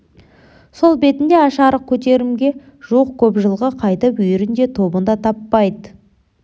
сол бетінде аш-арық көтеремге жуық көп жылқы қайтып үйірін де тобын да таппайды